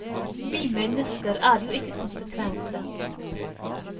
Vi mennesker er jo ikke konsekvente.